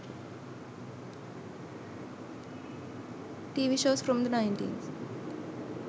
tv shows from the 90s